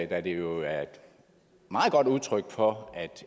da det jo er et meget godt udtryk for at